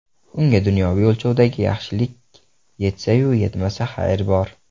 Unga dunyoviy o‘lchovdagi yaxshilik yetsa-yu yetmasa, xayr bor.